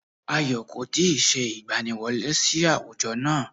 Ayọ̀ kò tí ì se ìgbaniwọlé sí àwùjọ náà